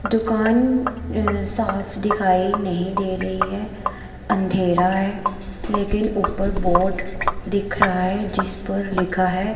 दुकान अह साफ दिखाई नहीं दे रही है अंधेरा है लेकिन ऊपर बोर्ड दिख रहा है जिस पर लिखा है--